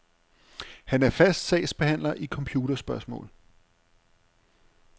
Han er fast sagsbehandler i computerspørgsmål.